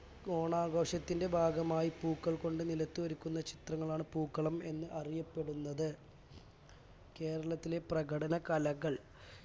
ഓണാഘോഷത്തിന്റെ ഭാഗമായി പൂക്കൾ കൊണ്ട് നിലത്ത് ഒരുക്കുന്ന ചിത്രങ്ങളാണ് പൂക്കളം എന്ന് അറിയപ്പെടുന്നത് കേരളത്തിലെ പ്രകടന കലകൾ